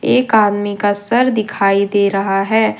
एक आदमी का सर दिखाई दे रहा है।